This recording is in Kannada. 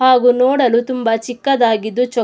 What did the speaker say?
ಹಾಗು ನೋಡಲು ತುಂಬಾ ಚಿಕ್ಕದಾಗಿದ್ದು ಚೋಕ್ --